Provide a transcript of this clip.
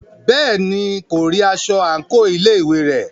Bẹ́ẹ̀ni, kò rí aṣọ àńkò ilé ìwé rẹ̀.